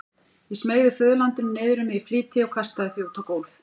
Ég smeygði föðurlandinu niður um mig í flýti og kastaði því út á gólf.